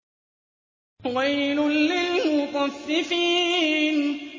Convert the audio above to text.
وَيْلٌ لِّلْمُطَفِّفِينَ